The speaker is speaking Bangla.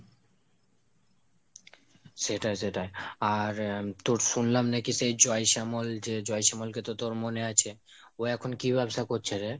সেটাই সেটাই আর~ তোর শুনলাম নাকি সেই জয় শ্যামল যেই জয় শ্যামলকে তো তোর মনে আছে। ও এখন কি ব্যবসা করছে রে?